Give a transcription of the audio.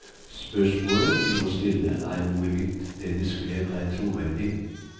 Spørsmålet vi må stille er hvorvidt det de skrev, er troverdig.